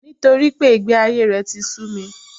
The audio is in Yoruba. Nítorípé ìgbé ayé rè ti su